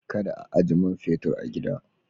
Kada ka ajiye man fetur a gida.